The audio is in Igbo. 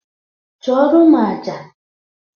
Chụọrọ m aja!